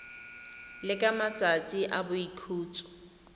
le ka matsatsi a boikhutso